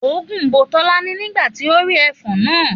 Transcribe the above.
Òógùn bo Tọ́lání nígbà tí ó rí ẹfọ̀n náà